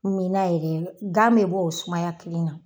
Min na yɛrɛ gan bɛ bɔ o sumaya kelen na.